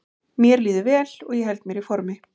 Mér líður vel og ég held mér í formi.